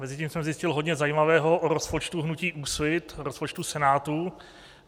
Mezitím jsem zjistil hodně zajímavého o rozpočtu hnutí Úsvit, o rozpočtu Senátu.